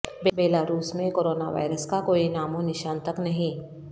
Belarus میں corona virus کا کوئی نام و نشان تک نہیں